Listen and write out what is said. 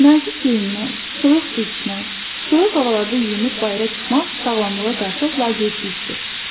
Nazik geyinmək, soyuq su içmək, soyuq havalarda yuyunub bayıra çıxmaq sağlamlığa qarşı laqeydlikdir.